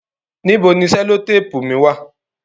Níbò ni sellotapu mi wà?